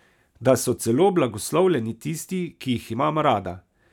Da so celo blagoslovljeni tisti, ki jih imam rada.